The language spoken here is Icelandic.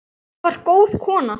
Lóa var góð kona.